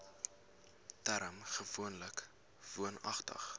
term gewoonlik woonagtig